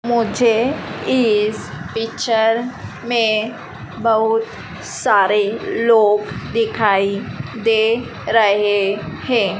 मुझे इस पिक्चर में बहुत सारे लोग दिखाई दे रहे हैं।